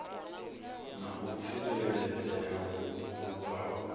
na u tsireledzea hu bvaho